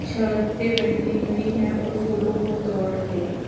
शर्टे पहने हुए हैं और फूलों को तोड़ रहे हैं।